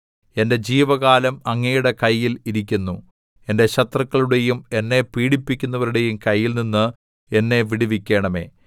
എന്റെ ജീവകാലം അങ്ങയുടെ കയ്യിൽ ഇരിക്കുന്നു എന്റെ ശത്രുക്കളുടെയും എന്നെ പീഡിപ്പിക്കുന്നവരുടെയും കൈയിൽനിന്ന് എന്നെ വിടുവിക്കണമേ